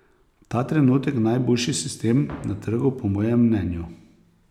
Ta trenutek najboljši sistem na trgu, po mojem mnenju.